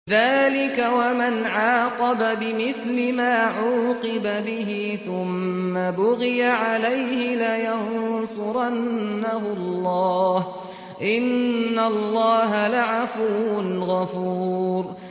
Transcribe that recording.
۞ ذَٰلِكَ وَمَنْ عَاقَبَ بِمِثْلِ مَا عُوقِبَ بِهِ ثُمَّ بُغِيَ عَلَيْهِ لَيَنصُرَنَّهُ اللَّهُ ۗ إِنَّ اللَّهَ لَعَفُوٌّ غَفُورٌ